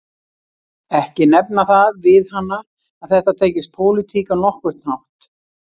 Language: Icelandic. Ekki nefna það við hana að þetta tengist pólitík á nokkurn hátt